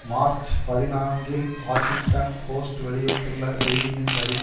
March பதினான்கில் Washington Post வெளியிட்டுள்ள செய்தியின் படி